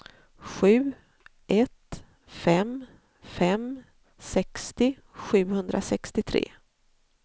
sju ett fem fem sextio sjuhundrasextiotre